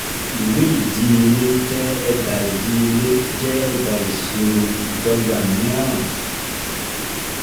Ìwé ìdíyelé jẹ́ ẹ̀dà ìdíyelé jẹ́ ẹ̀dà ìṣirò ìdọ́gba mìíràn.